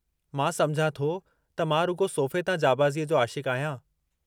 मां समुझां थो त मां रुॻो सोफ़े तां जांबाज़ीअ जो आशिक़ु आहियां!